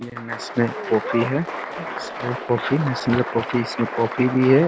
ये national coffee है national coffee इसमें कॉफी भी है |